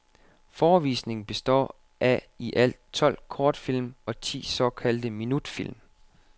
Forevisningen består af i alt tolv kortfilm og ti såkaldte minutfilm.